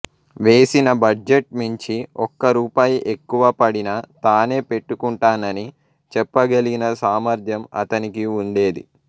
వేసిన బడ్జెట్ మించి ఒక్క రూపాయి ఎక్కువ పడినా తానే పెట్టుకుంటానని చెప్పగలిగిన సామర్థ్యం అతనికి ఉండేది